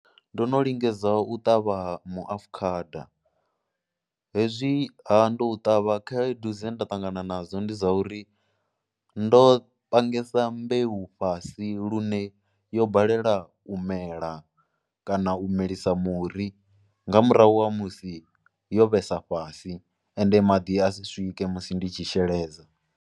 Ndo no lingedza u ṱavha muafukhada, hezwiha ndo u ṱavha khaedu dze nda ṱangana nadzo ndi dza uri ndo pangesa mbeu fhasi lune yo balela u mela kana u milisa muri nga murahu ha musi yo vhesa fhasi ende maḓi a si swike musi ndi tshi sheledza.